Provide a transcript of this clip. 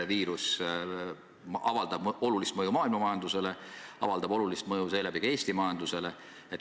Viirus avaldab olulist mõju maailma majandusele, avaldab olulist mõju ka Eesti majandusele.